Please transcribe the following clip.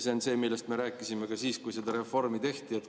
See on see, millest me rääkisime ka siis, kui seda reformi tehti.